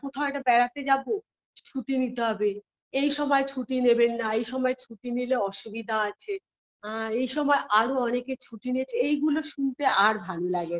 কোথাও একটা বেড়াতে যাবো ছুটি নিতে হবে এই সময় ছুটি নেবেন না এই সময় ছুটি নিলে অসুবিধা আছে আ এই সময় আরো অনেক ছুটি নিয়েছে এগুলো শুনতে আর ভালো লাগে না